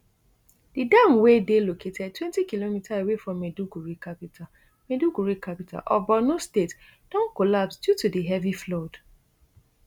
di dam wey dey located twenty km away from maiduguri capital maiduguri capital of borno state don collapse due to di heavy flood